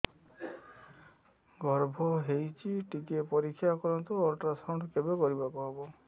ଗର୍ଭ ହେଇଚି ଟିକେ ପରିକ୍ଷା କରନ୍ତୁ ଅଲଟ୍ରାସାଉଣ୍ଡ କେବେ କରିବାକୁ ହବ